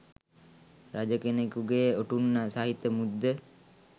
රජ කෙනකුගේ ඔටුන්න සහිත මුද්ද